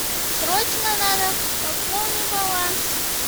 срочно надо пополни баланс